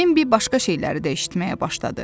Bembi başqa şeyləri də eşitməyə başladı.